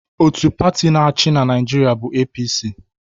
Otu pati na-achị na Naịjirịa bụ APC.